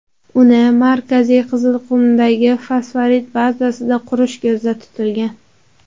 Uni Markaziy Qizilqumdagi fosforit bazasida qurish ko‘zda tutilgan.